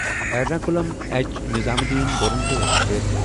Ernakulam H Nizamuddin Duronto express